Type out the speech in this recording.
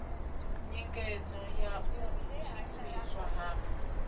nyengedzo ya u tshimbidzwa ha